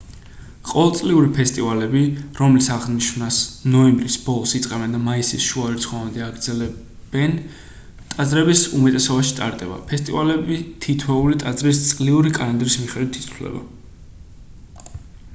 ყოველწლიური ფესტივალები რომლის აღნიშვნას ნოემბრის ბოლოს იწყებენ და მაისის შუა რიცხვებამდე აგრძელებენ ტაძრების უმეტესობაში ტარდება ფესტივალები თითოეული ტაძრის წლიური კალენდრის მიხედვით იცვლება